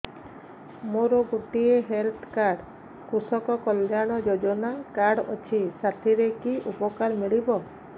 ମୋର ଗୋଟିଏ health card କୃଷକ କଲ୍ୟାଣ ଯୋଜନା କାର୍ଡ ଅଛି ସାଥିରେ କି ଉପକାର ମିଳିବ